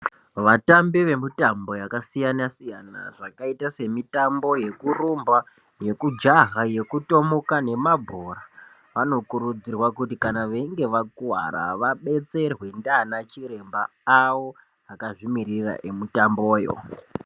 Vatambi vemutambo yakasiyana siyana yakaita semitambo yekurumba yekujaha yekutomuka nemabhora vanokurudzirwa kuti kana veinge vakuwara vabetserwe ndiana chiremba awo akazvimirira emutamboyo.